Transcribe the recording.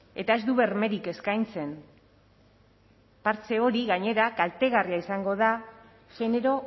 eta ez du bermerik eskaintzen partxe hori gainera kaltegarria izango da genero